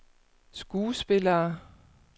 skuespillere